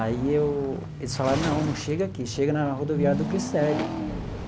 Aí eu eles falaram, não, não chega aqui, chega na rodoviária do Glicério.